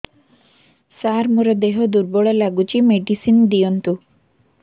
ସାର ମୋର ଦେହ ଦୁର୍ବଳ ଲାଗୁଚି ମେଡିସିନ ଦିଅନ୍ତୁ